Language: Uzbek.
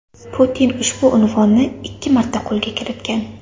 Putin ushbu unvonni ikki marta qo‘lga kiritgan.